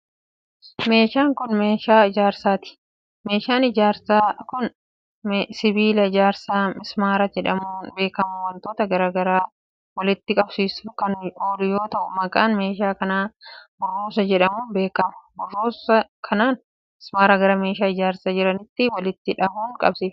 Meeshaan kun, meeshaa ijaarsaati. Meeshaan ijaarsaa kun, sibiila ijaarsaa mismaara jedhamuun beekamu wantoota garaa garaa walitti qabsiisuuf kan oolu yoo ta'u, maqaan meeshaa kana burruusa jedhamuun beekama. Burrusa kanaan mismaara gara meeshaa ijaarsaa biraatti walitti dhahuun qabsiifama.